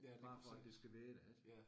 Bare for at det skal være der ik